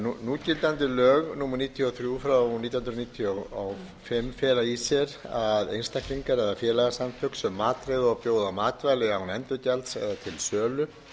núgildandi lög númer níutíu og þrjú nítján hundruð níutíu og fimm fela í sér að einstaklingar eða félagasamtök sem matreiða og bjóða matvæli án endurgjalds eða til sölu